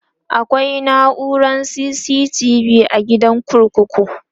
akwai naurar CCTV be a gidan kurkuku